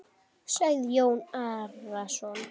sagði Jón Arason.